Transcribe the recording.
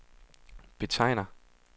betegner